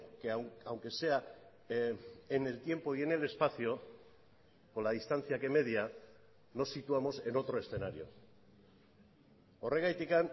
que aunque sea en el tiempo y en el espacio con la distancia que media nos situamos en otro escenario horregatik